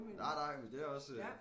Nej nej men det er også